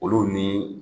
Olu ni